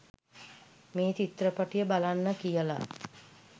මේ චිත්‍රපටය බලන්න කියල